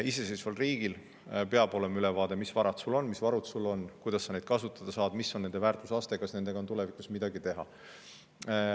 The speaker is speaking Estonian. Iseseisval riigil peab olema ülevaade, mis varad sul on, mis varud sul on, kuidas sa neid kasutada saad, milline on nende väärtusaste, kas nendega on tulevikus midagi teha.